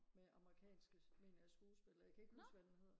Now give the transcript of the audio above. med amerikanske mener jeg skuespillere jeg kan ikke huske hvad den hedder